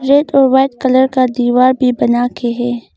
Red और white colour का दीवार भी बनाके है।